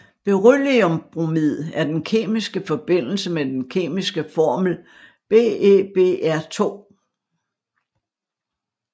Berylliumbromid er den kemiske forbindelse med den kemiske formel BeBr2